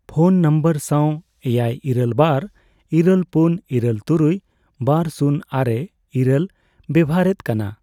phone number ᱥᱟᱣ ᱮᱭᱟᱭ ᱤᱨᱟᱹᱞ ᱵᱟᱨ ᱤᱨᱟᱹᱞ ᱯᱩᱱ ᱤᱨᱟᱹᱞ ᱛᱩᱨᱩᱭ ᱹᱵᱟᱨ ᱥᱩᱱ ᱟᱨᱮ ᱤᱨᱟᱹᱞ ᱵᱮᱵᱚᱦᱟᱨᱮᱫ ᱠᱟᱱᱟ